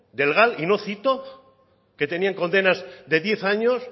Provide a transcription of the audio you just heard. del gal y no cito que tenían condenas de diez años